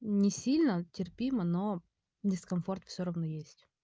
не сильно терпимо но дискомфорт все равно есть